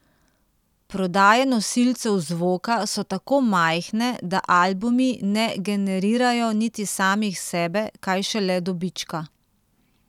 Prodaje nosilcev zvoka so tako majhne, da albumi ne generirajo niti samih sebe, kaj šele dobička.